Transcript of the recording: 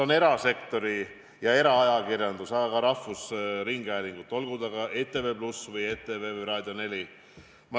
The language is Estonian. Ma tänan nii eraajakirjandust kui ka rahvusringhäälingut, olgu see ETV+ või ETV või Raadio 4.